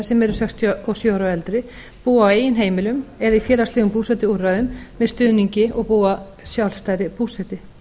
sem eru sextíu og sjö ára og eldri búa á eigin heimilum eða í félagslegum búsetuúrræðum með stuðningi og búa sjálfstæðri búsetu